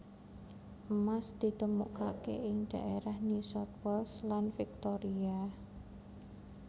Emas ditemukake ing dhaérah New South Wales lan Victoria